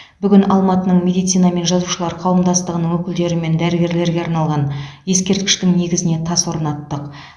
бүгін алматының медицина мен жазушылар қауымдастығының өкілдерімен дәрігерлерге арналған ескерткіштің негізіне тас орнаттық